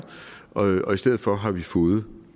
og i stedet for har vi fået